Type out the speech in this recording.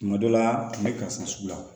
Kuma dɔ la a tun bɛ karisa sugu la